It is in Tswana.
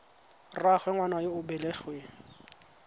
rraagwe ngwana yo o belegweng